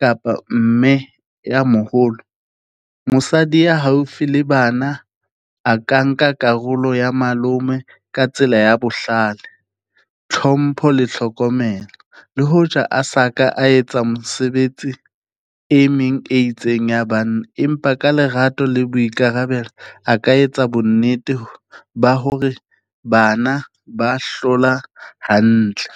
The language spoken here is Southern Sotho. kapa mme ya moholo, mosadi ya haufi le bana a ka nka karolo ya malome ka tsela ya bohlale, tlhompho le tlhokomelo. Le hoja a sa ka a etsa mosebetsi e meng e itseng ya bana, empa ka lerato le boikarabelo, a ka etsa bonnete ba hore bana ba hlola hantle.